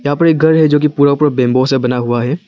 यहां पर एक घर है जो कि पूरा पूरा बैंबू से बना हुआ है।